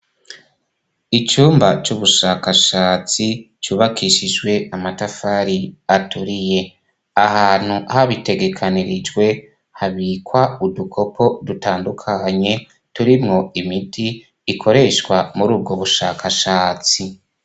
Icumba c'ubushakashatsi cubakishijwe amatafari aturiye ahantu habitegekanirijwe habikwa udukoko dutandukanye turimwo imiti ikoreshwa muri ubwo bushakashatsi.